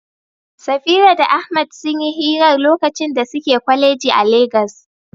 Safira da Ahmad sun yi hirar lokacin da suke kwaleji a Legas.